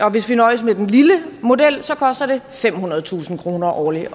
og hvis vi nøjes med den lille model vil det koste femhundredetusind kroner årligt